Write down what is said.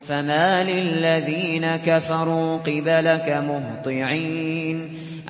فَمَالِ الَّذِينَ كَفَرُوا قِبَلَكَ مُهْطِعِينَ